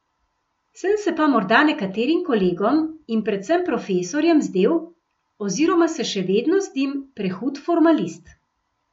Sem se pa morda nekaterim kolegom in predvsem profesorjem zdel, oziroma se še vedno zdim, prehud formalist.